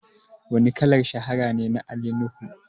Wane kalar shahara ne na Ali Nuhu?